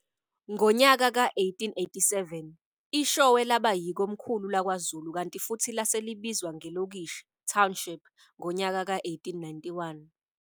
Ngonyaka ka1887 IShowe laba yikhomkhulu lakwaZulu kanti futhi lase libizwa ngelokishi, township, ngonyaka ka 1891.